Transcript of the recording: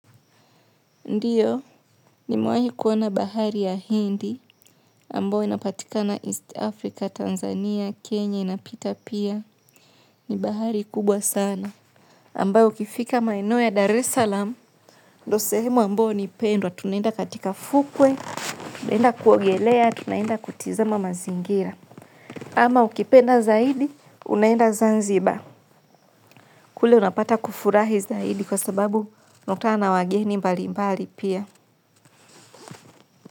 Ndiyo, nimewahi kuona bahari ya Hindi, ambao inapatikana East Africa, Tanzania, Kenya, inapita pia, ni bahari kubwa sana. Ambao ukifika maeneo ya Dar es Salaam, ndo sehemu ambao ni pendwa, tunaenda katika fukwe, tunaenda kuogelea, tunaenda kutizama mazingira. Ama ukipenda zaidi, unaenda Zanzibar. Kule unapata kufurahi zaidi kwa sababu unakutana na wageni mbali mbali pia.